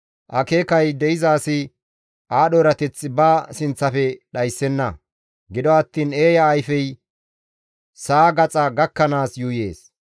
Akeekay de7iza asi aadho erateth ba sinththafe dhayssenna; gido attiin eeya ayfey sa7a gaxa gakkanaas yuuyees.